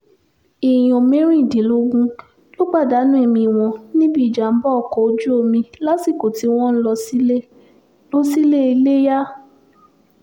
èèyàn mẹ́rìndínlógún ló pàdánù ẹ̀mí wọn níbi ìjàm̀bá ọkọ̀ ojú omi lásìkò tí wọ́n ń lọ sílé lọ sílé iléyà